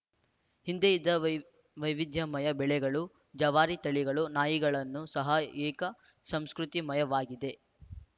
ಹಿಂದೆ ಇದ್ದ ವೈ ವೈವಿಧ್ಯಮಯ ಬೆಳೆಗಳು ಜವಾರಿ ತಳಿಗಳು ನಾಯಿಗಳನ್ನು ಸಹ ಏಕ ಸಂಸ್ಕೃತಿಮಯವಾಗಿವೆ